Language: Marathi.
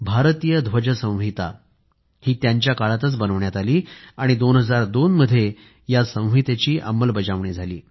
भारतीय ध्वज संहिता त्यांच्या काळात बनवण्यात आली आणि 2002 मध्ये या संहितेची अंमलबजावणी झाली